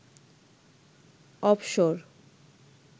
অবসর